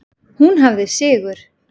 Hún hafði sigur.